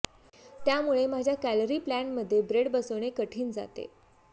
त्यामुळे माझ्या calorie plan मधे ब्रेड बसवणे कठीण जाते